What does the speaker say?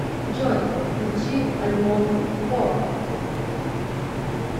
джой включи альбом ворк